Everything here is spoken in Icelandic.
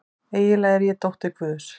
Eiginlega er ég dóttir guðs.